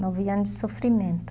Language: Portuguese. Nove anos de sofrimento.